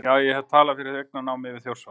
Já, hef ég talað fyrir eignarnámi við Þjórsá?